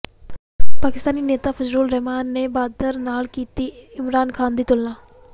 ਪਾਕਿਸਤਾਨੀ ਨੇਤਾ ਫ਼ਜਲੂਰ ਰਹਿਮਾਨ ਨੇ ਬਾਂਦਰ ਨਾਲ ਕੀਤੀ ਇਮਰਾਨ ਖ਼ਾਨ ਦੀ ਤੁਲਨਾ